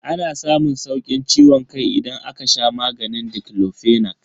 Ana samun saukin ciwon kai idan aka sha maganin diclofenac.